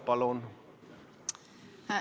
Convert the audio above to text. Palun!